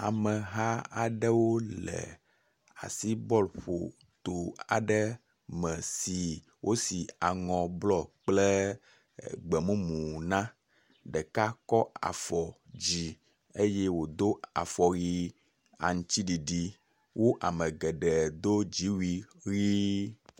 Ameh aaɖewo le asibɔl ƒo to aɖe me si wosi aŋɔ blɔ kple gbemumu na. Ɖeka kɔ afɔ dzi eye wodo afɔwui aŋtsiɖiɖi. Wo ame geɖe do dziwui ʋi.